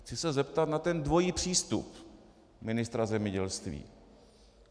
Chci se zeptat na ten dvojí přístup ministra zemědělství.